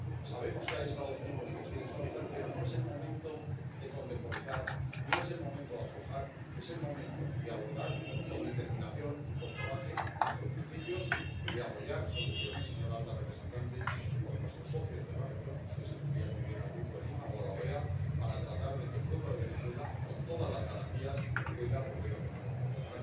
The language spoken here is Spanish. Sabemos que hay Estados miembros que quieren suavizarla, pero no es el momento de contemporizar, no es el momento de aflojar. Es el momento de abordar con determinación y con coraje nuestros principios y de apoyar soluciones, señora alta representante, con nuestros socios de la región —usted se refería muy bien al Grupo de Lima o a la OEA— para tratar de que el pueblo de Venezuela, con todas las garantías, pueda volver a tomar la palabra.